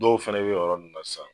Dɔw fɛnɛ bɛ ye yɔrɔ nunnu na sisan.